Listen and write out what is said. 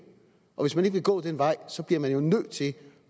og hvis man ikke vil gå den vej bliver man jo nødt til